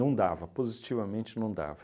dava, positivamente não dava.